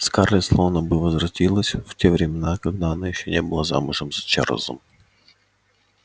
скарлетт словно бы возвратилась в те времена когда она ещё не была замужем за чарлзом